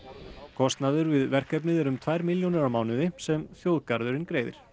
kostnaður við verkefnið er um tvær milljónir á mánuði sem þjóðgarðurinn greiðir